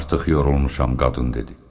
Artıq yorulmuşam qadın dedi.